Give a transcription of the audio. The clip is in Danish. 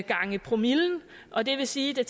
gange promillen og det vil sige at